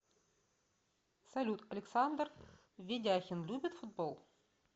салют александр ведяхин любит футбол